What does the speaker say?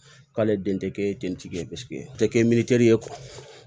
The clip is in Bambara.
K'ale den tɛ kɛ dentigi ye paseke te kɛ ye